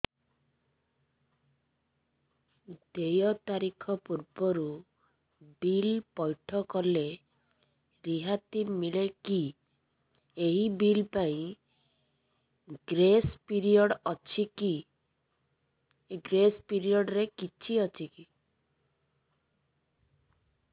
ଦେୟ ତାରିଖ ପୂର୍ବରୁ ବିଲ୍ ପୈଠ କଲେ ରିହାତି ମିଲେକି ଏହି ବିଲ୍ ପାଇଁ ଗ୍ରେସ୍ ପିରିୟଡ଼ କିଛି ଅଛିକି